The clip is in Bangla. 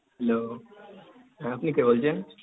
hello, হ্যাঁ আপনি কে বলছেন?